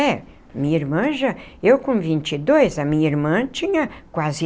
É, minha irmã já, eu com vinte e dois, a minha irmã tinha quase